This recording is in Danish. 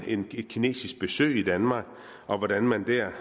kinesisk besøg i danmark og hvordan man der